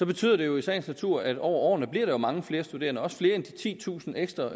betyder det jo i sagens natur at der over årene bliver mange flere studerende også flere end de titusind ekstra